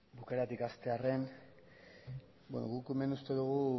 bukaeratik hastearren guk hemen uste dugu